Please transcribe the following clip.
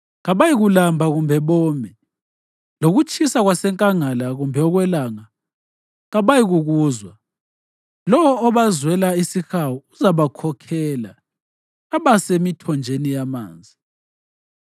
Kabayikulamba kumbe bome, lokutshisa kwasenkangala kumbe okwelanga kabayikukuzwa. Lowo obazwela isihawu uzabakhokhela abase emithonjeni yamanzi.